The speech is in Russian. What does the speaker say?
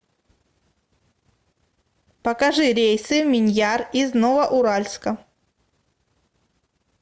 покажи рейсы в миньяр из новоуральска